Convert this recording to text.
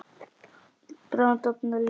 Bráðum dofnar ljós.